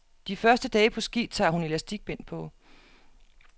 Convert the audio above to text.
De første dage på ski tager hun elastikbind på.